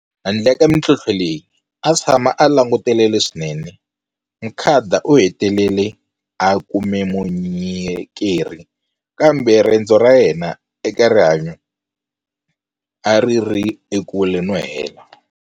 Handle ka mitlhontlho leyi, a tshama a langutele leswinene. Mukhada u hetelele a kume munyi keri, kambe rendzo ra yena eka rihanyu a ri ri ekule no hela.